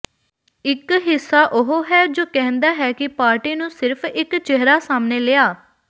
ਇਕ ਹਿੱਸਾ ਉਹ ਹੈ ਜੋ ਕਹਿੰਦਾ ਹੈ ਕਿ ਪਾਰਟੀ ਨੂੰ ਸਿਰਫ ਇਕ ਚਿਹਰਾ ਸਾਹਮਣੇ ਲਿਆ